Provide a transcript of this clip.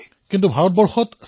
তৰন্নুম খানঃ হয় মহাশয়